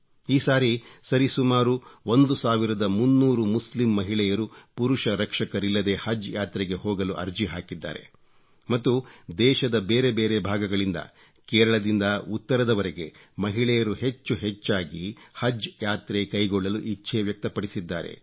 ಈ ಸಾರಿ ಸರಿಸುಮಾರು 1300 ಮುಸ್ಲಿಂ ಮಹಿಳೆಯರು ಪುರುಷ ರಕ್ಷಕರರಿಲ್ಲದೆ ಹಜ್ ಯಾತ್ರೆಗೆ ಹೋಗಲು ಅರ್ಜಿ ಹಾಕಿದ್ದಾರೆ ಮತ್ತು ದೇಶದ ಬೇರೆ ಬೇರೆ ಭಾಗಗಳಿಂದ ಕೇರಳದಿಂದ ಉತ್ತರದವರೆಗೆ ಮಹಿಳೆಯರು ಹೆಚ್ಹು ಹೆಚ್ಚಾಗಿ ಹಜ್ ಯಾತ್ರೆ ಕೈಗೊಳ್ಳಲು ಇಚ್ಛೆ ವ್ಯಕ್ತಪಡಿಸಿದ್ದಾರೆ